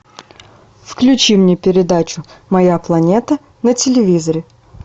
включи мне передачу моя планета на телевизоре